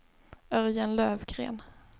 Örjan Löfgren